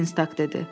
Dinstaq dedi.